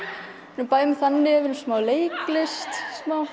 bæði með þannig og smá leiklist